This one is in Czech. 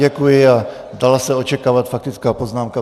Děkuji a dala se očekávat faktická poznámka.